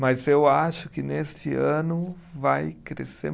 Mas eu acho que neste ano vai crescer